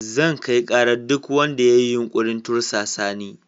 Zan kai karar duk wanda ya yi yunkurin tursasa ni.